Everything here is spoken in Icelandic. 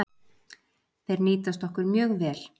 Þeir nýtast okkur mjög vel